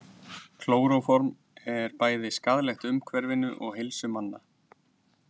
Klóróform er bæði skaðlegt umhverfinu og heilsu manna.